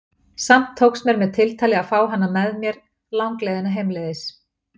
Samt tókst mér með tiltali að fá hana með mér langleiðina heimleiðis.